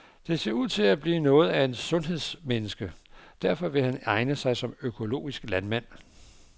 Det ser ud til at blive noget af et sundhedsmenneske, og derfor vil han egne sig som økologisk landmand.